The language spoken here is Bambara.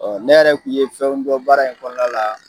Ɔ ne yɛrɛ kun ye fɛnw dɔ baara in kɔnɔna la